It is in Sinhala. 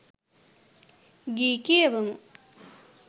ගී කියවමු